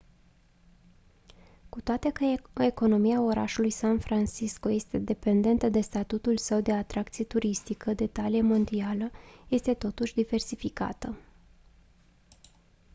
cu toate că economia orașului san francisco este dependentă de statutul său de atracție turistică de talie mondială este totuși diversificată